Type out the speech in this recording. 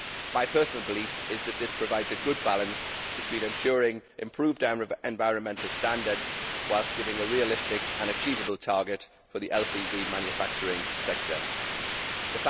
my personal belief is that this provides a good balance between ensuring improved environmental standards, on the one hand, and giving a realistic and achievable target for the LCV manufacturing sector, on the other.